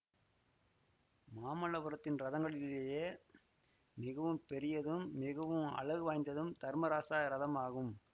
மாமல்லபுரத்தின் ரதங்களிலேயே மிகவும் பெரியதும் மிகவும் அழகு வாய்ந்ததும் தர்மராச இரதம் ஆகும்